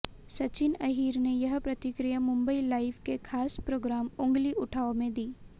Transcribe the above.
सचिन अहिर ने यह प्रतिक्रिया मुंबई लाइव के खास प्रोग्राम उंगली उठाओ में दी